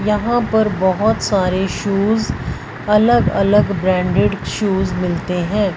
यहां पर बहोत सारे शूज अलग अलग ब्रांडेड शूज मिलते हैं।